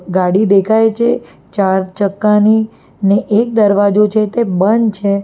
ગાડી દેખાય છે ચાર ચક્કાની ને એક દરવાજો છે જે બંધ છે.